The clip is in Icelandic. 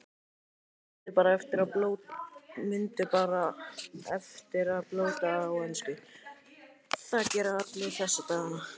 Mundu bara eftir að blóta á ensku, það gera allir þessa dagana.